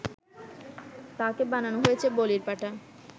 তাকে বানানো হয়েছে বলির পাঠা